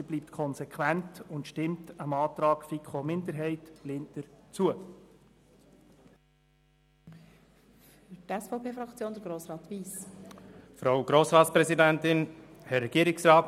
Sie bleibt konsequent und stimmt dem Antrag der FiKoMinderheit respektive von Grossrätin Linder zu.